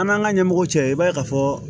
An'an ka ɲɛmɔgɔw cɛ i b'a ye ka fɔ